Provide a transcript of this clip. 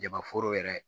Jama foro yɛrɛ